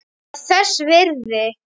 Ég var þess virði.